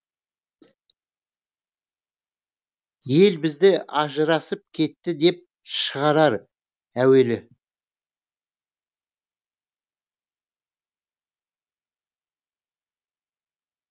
ел бізді ажырасып кетті деп шығарар әуелі